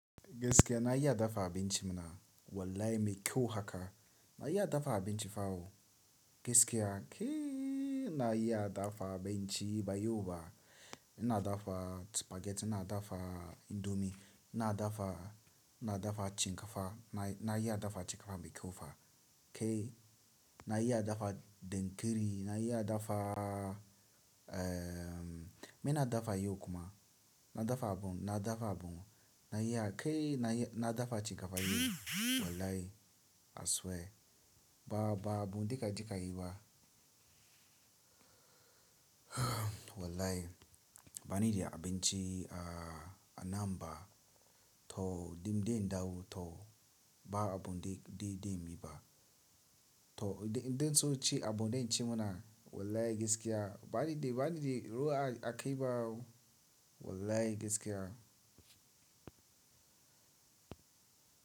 Gaskiya na iya dafa abinci muna. Wallahi mai kyau haka. Na iya dafa abinci fa ooh. Gaskiya kee na iya dafa abinci ba yau ba. Ina dafa spaghetti, ina dafa indomie, ina dafa, ina dafa cin kafa. Na, na iya dafa cin kafa mai kyau fa. Ke na iya dafa dankari, na iya dafa, eh, me na dafa yau kuma? Na dafa abun, na dafa abun. Na iya kai na, na iya dafa cin kafa yau. Wallahi I swear. Ba, ba abun daika dika yi ba. Wallahi bani da abinci a, a nan ba. To dimden dawo to ba abun de, de, den bi ba. To idan, idan sosai ci abun da in ci muna. Wallahi gaskiya bani da, bani da ruwa a kai ba ooh. Wallahi gaskiya.